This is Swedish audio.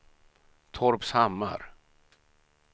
Torpshammar